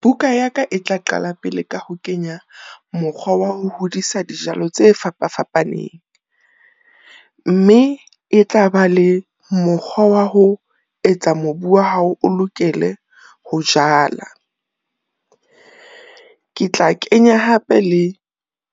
Buka ya ka e tla qala pele ka ho kenya mokgwa wa ho hodisa dijalo tse fapa fapaneng, mme e tla ba le mokgwa wa ho etsa mobu wa hao o lokele ho jala. Ketla kenya hape le